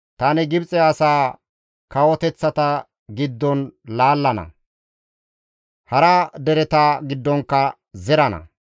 Tani Gibxe asaa kawoteththata giddon laallana; hara dereta giddonkka zerana.